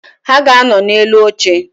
Ha ga-anọ na-elu oche